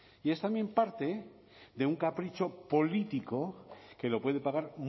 y es también parte de un capricho político que lo puede pagar